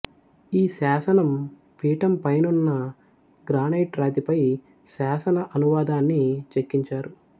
ఈ శాసనం పీఠంపైనున్న గ్రానైటు రాతిపై శాసన అనువాదాన్ని చెక్కించారు